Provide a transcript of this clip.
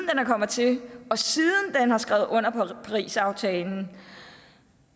kommet til og siden den har skrevet under på parisaftalen